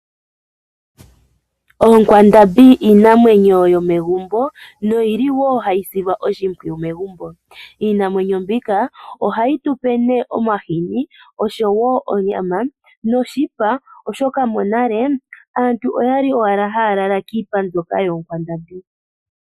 Oonkwandambi iinamwenyo yomegumbo noyili wo hayi silwa oshimpwiyu megumbo. Iinamwenyo mbika ohayi tu pe omahini, onyama noshipa. Oshoka monale aantu oyali owala haya lala kiipa mbyoka yoonkwandambi.